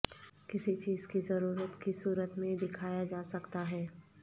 کسی چیز کی ضرورت کی صورت میں دکھایا جا سکتا ہے